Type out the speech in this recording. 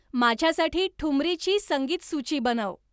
माझ्यासाठी ठुमरी ची संगीतसूची बनव